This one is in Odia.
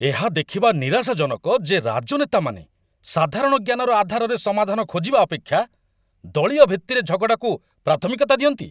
ଏହା ଦେଖିବା ନିରାଶାଜନକ ଯେ ରାଜନେତାମାନେ ସାଧାରଣ ଜ୍ଞାନର ଆଧାରରେ ସମାଧାନ ଖୋଜିବା ଅପେକ୍ଷା ଦଳୀୟଭିତ୍ତିରେ ଝଗଡ଼ାକୁ ପ୍ରାଥମିକତା ଦିଅନ୍ତି